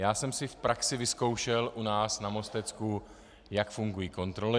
Já jsem si v praxi vyzkoušel u nás na Mostecku, jak fungují kontroly.